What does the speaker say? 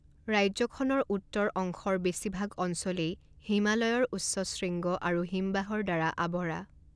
ৰাজ্যখনৰ উত্তৰ অংশৰ বেছিভাগ অঞ্চলেই হিমালয়ৰ উচ্চ শৃঙ্গ আৰু হিমবাহৰ দ্বাৰা আৱৰা।